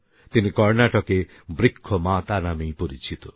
তিনি কর্নাটকে বৃক্ষমাতা নামেই পরিচিত